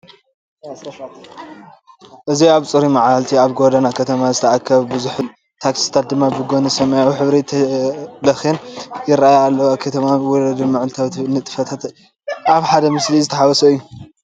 እዚ ኣብ ጽሩይ መዓልቲ ኣብ ጎደና ከተማ ዝተኣከበ ብዙሕ ህዝቢ ዘርኢ እዩ። ታክሲታት ድማ ብጐድኒ ሰማያዊ ሕብሪ ተለኺየን ይራኣያ ኣለዋ። ከተማዊ ወለዶን መዓልታዊ ንጥፈታትን ኣብ ሓደ ምስሊ ዝተሓዋወሰ እዩ።